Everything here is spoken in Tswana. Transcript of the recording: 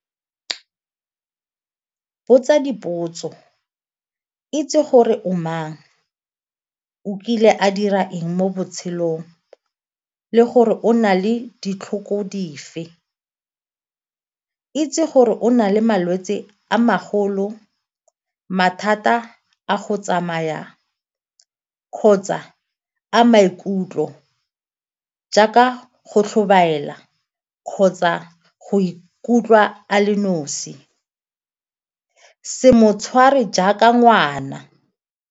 Botsa dipotso, itse gore o mang, o kile a dira eng mo botshelong le gore o na le ditlhoko dife. Itse gore o na le malwetse a magolo, mathata a go tsamayang kgotsa a maikutlo jaaka go tlhobaela kgotsa go ikutlwa a le nosi, se mo tshware jaaka ngwana.